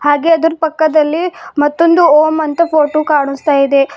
ಹಾಗೆ ಅದರ್ ಪಕ್ಕದಲ್ಲಿ ಮತ್ತೊಂದು ಓಂ ಅಂತಾ ಫೋಟೋ ಕಾನುಸ್ತಾ ಇದೆ.